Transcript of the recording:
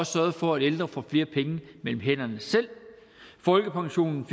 sørget for at ældre får flere penge mellem hænderne selv folkepensionen